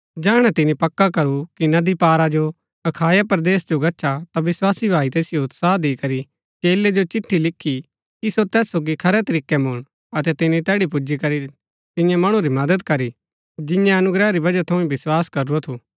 जैहणै तिनी पक्का करू कि नदी पारा जो अखाया परदेस जो गच्छा ता विस्वासी भाई तैसिओ उत्साह दिकरी चेलै जो चिट्ठी लिखी कि सो तैस सोगी खरै तरीकै मुळन अतै तिनी तैड़ी पुजीकरी तियां मणु री मदद करी जिन्यैं अनुग्रह री वजह थऊँ ही विस्वास करूरा थु